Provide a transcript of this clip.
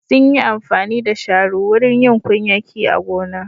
Sun yi amfani da shanu wurin yin kunyaki a gona.